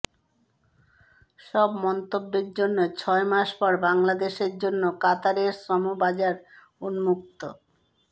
সব মন্তব্যের জন্য ছয় মাস পর বাংলাদেশের জন্য কাতারের শ্রম বাজার উন্মুক্ত